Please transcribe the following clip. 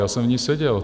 Já jsem v ní seděl.